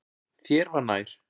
Þér var nær.